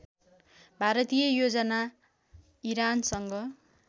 भारतीय योजना इरानसँग